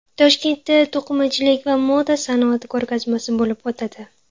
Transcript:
Toshkentda to‘qimachilik va moda sanoati ko‘rgazmasi bo‘lib o‘tadi.